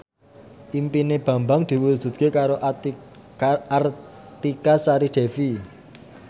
impine Bambang diwujudke karo Artika Sari Devi